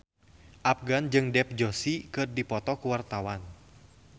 Afgan jeung Dev Joshi keur dipoto ku wartawan